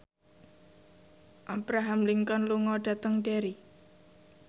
Abraham Lincoln lunga dhateng Derry